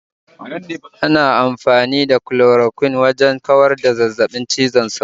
Ana amfani da Chloroquine wajan kawar da zazzabin cizon sauro